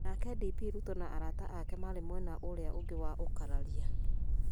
Nake DP Ruto na arata ake marĩ mwena ũrĩa ũngĩ wa ũkararia.